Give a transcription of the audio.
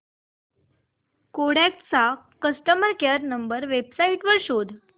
Kodak चा customer care number website वर शोध